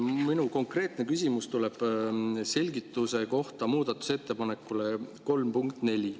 Minu konkreetne küsimus tuleb selgituse kohta muudatusettepanekule 3.4.